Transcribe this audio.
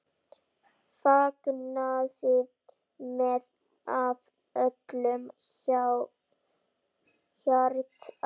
Fagnaði með af öllu hjarta.